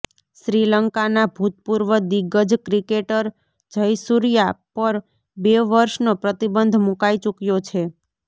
શ્રીલંકાના ભૂતપૂર્વ દિગ્ગજ ક્રિકેટર જયસુર્યા પર બે વર્ષનો પ્રતિબંધ મૂકાઈ ચૂક્યો છે